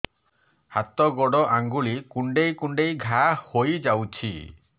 ହାତ ଗୋଡ଼ ଆଂଗୁଳି କୁଂଡେଇ କୁଂଡେଇ ଘାଆ ହୋଇଯାଉଛି